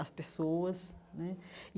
as pessoas né.